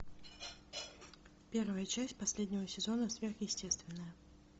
первая часть последнего сезона сверхъестественное